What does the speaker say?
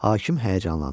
Hakim həyəcanlandı.